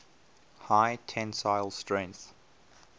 high tensile strength